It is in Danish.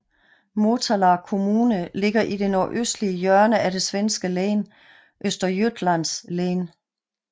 Motala kommune ligger i det nordøstlige hjørne af det svenske län Östergötlands län